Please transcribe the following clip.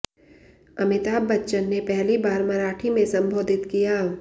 अमिताभ बच्चन ने पहली बार मराठी में संबोधित किया